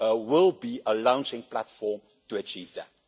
will be a launching platform to achieve that.